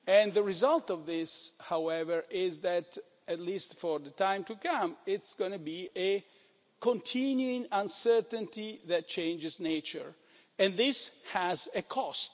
worse. The result of this, however, is that, at least for some time to come, there's going to be a continuing uncertainty that changes nature, and this has